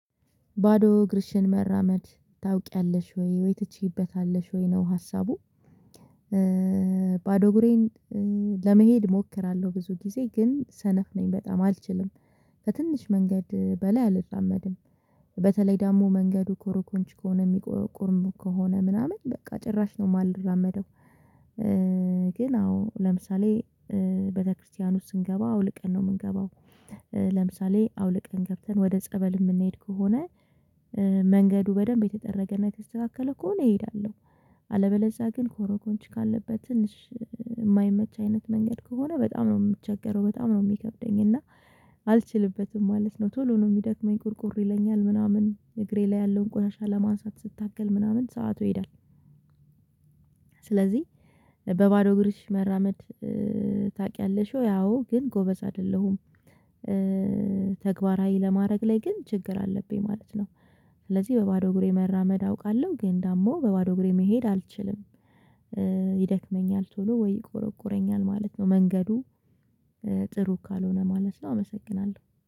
ባዶ እግርሽን መራመድ ታውቂያለሽ ወይ? ወይ ትቼበታለሽ ወይ? ነው ሀሳቡ። ባዶ እግሬን ለመሄድ እሞክራለሁ ብዙ ጊዜ ግን ሰነፍ ነኝ በጣም አልችልም። በትንሽ መንገድ በላይ አልራመድም። በተለይ ደግሞ መንገዱ ኮሮኮንች ከሆነ የሚቆርሙ ከሆነ ምናምን በቃ ጭራሽ ነው የማልራመደው። ግን አዎ ለምሳሌ ቤተክርስቲያን ውስጥ ስንገባ አውልቀን ነው የምንገባው። ለምሳሌ አውልቀን ገብተን ወደ ጸበል የምንሄድ ከሆነ መንገዱ በደንብ የተጠረገና የተስተካከለ ከሆነ እሄዳለሁ። አለበለዚያ ግን ኮሮኮንች ካለበት ትንሽ የማይመች አይነት መንገድ ከሆነ በጣም ነው የምቸገረው፤ በጣም ነው የሚከብደኝ፤ እና አልችልበትም ማለት ነው። ቶሎ ነው የሚደክመኝ ቁርቁር ይለኛል ምናምን እግሬ ላይ ያለውን ቆሻሻ ለማንሳት ስታገል ምናምን ሰዓቱ ይሄዳል። ስለዚህ በባዶ እግርሽ መራመድ ታውቂያለሽ ወይ? አዎ፤ ግን ጎበዝ አይደለሁም። ተግባራዊ ለማድረግ ላይ ግን ችግር አለብኝ ማለት ነው። ስለዚህ በባዶ እግሬ መራመድ አውቃለሁ፤ ግን ደግሞ በባዶ እግሬ መሄድ አልችልም። ይደክመኛል ቶሎ ወይ ይቆረቁረኛል ማለት ነው። መንገዱ ጥሩ ካልሆነ ማለት ነው አመሰግናለሁ።